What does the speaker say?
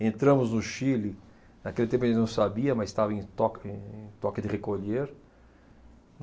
Entramos no Chile, naquele tempo a gente não sabia, mas estava em toque, em toque de recolher.